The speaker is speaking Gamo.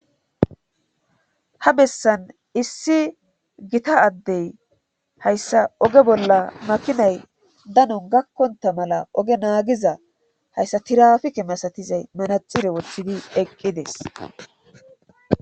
Ha bessan issi gita addey hayssa oge bolla makinay danon gakkonta mala oge naagiza hayssa tirafike masatizay manaxire wothidi eqqides